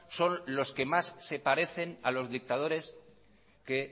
son los que más se parecen a los dictadores que